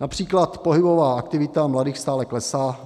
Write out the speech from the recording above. Například pohybová aktivita mladých stále klesá.